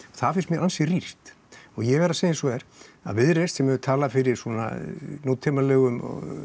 það finnst mér ansi rýrt og ég verð að segja eins og er að Viðreisn sem hefur talað fyrir nútímalegum